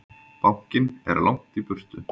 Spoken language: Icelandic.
Bankinn er langt í burtu.